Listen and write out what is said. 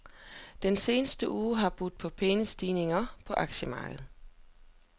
Den seneste uge har budt på pæne stigninger på aktiemarkedet.